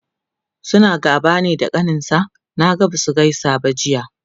suna gaba ne da kaninsa? Naga Basu gaisa ba Jiya